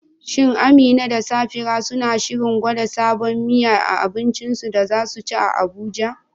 Shin Amina da Safira suna shirin gwada sabon miya a abincin da za su ci a Abuja?